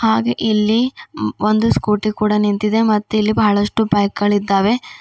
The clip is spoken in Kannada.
ಹಾಗೆ ಇಲ್ಲಿ ಒಂದು ಸ್ಕೂಟಿ ಕೂಡ ನಿಂತಿದೆ ಮತ್ತು ಇಲ್ಲಿ ಬಹಳಷ್ಟು ಬೈಕ್ ಗಳು ಇದ್ದಾವೆ.